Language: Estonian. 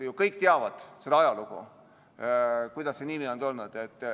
Kõik teavad ajalugu, kuidas see nimi on tulnud.